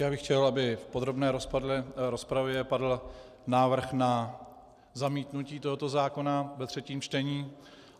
Já bych chtěl, aby v podrobné rozpravě padl návrh na zamítnutí tohoto zákona ve třetím čtení.